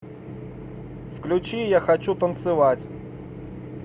включи я хочу танцевать